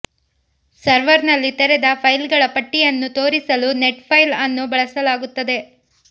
ಸರ್ವರ್ನಲ್ಲಿ ತೆರೆದ ಫೈಲ್ಗಳ ಪಟ್ಟಿಯನ್ನು ತೋರಿಸಲು ನೆಟ್ ಫೈಲ್ ಅನ್ನು ಬಳಸಲಾಗುತ್ತದೆ